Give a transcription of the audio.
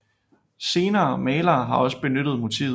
Senere malere har også benyttet motivet